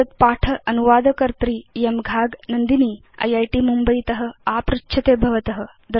एतत् पाठ अनुवादकर्त्री इयं घाग नन्दिनी इत् मुम्बयीत आपृच्छते भवत